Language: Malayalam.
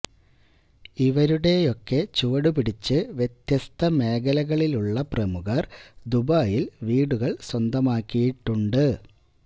ഇവരുടെയൊക്കെ ചുവടു പിടിച്ച് വ്യത്യസ്ത മേഖലകളിലുള്ള പ്രമുഖര് ദുബായില് വീടുകള് സ്വന്തമാക്കിയിട്ടുണ്ട്